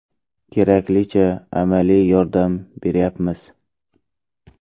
Keraklicha amaliy yordam beryapmiz.